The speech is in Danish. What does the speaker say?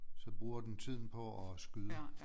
Så bruger den tiden på at skyde